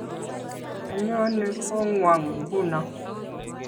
Anyone kongwong nguno